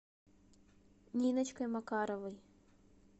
ниночкой макаровой